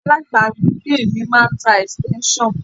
Alábàágbé mi máà ń tá extension.